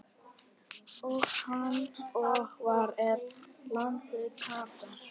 og Hvar er landið Katar?